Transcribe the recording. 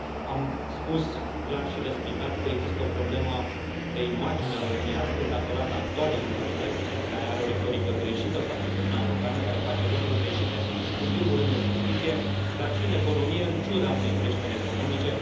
Am spus clar și răspicat că există o problemă de imagine a României, astăzi, datorată actualei guvernări, care are o retorică greșită față de Uniunea Europeană, care face lucruri greșite, în primul rând în justiție, dar și în economie, în ciuda unei creșteri economice.